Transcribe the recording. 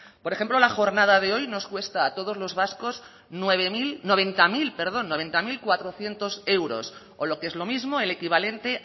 por ejemplo la jornada de hoy nos cuesta a todos los vascos nueve mil noventa mil perdón noventa mil cuatrocientos euros o lo que es lo mismo el equivalente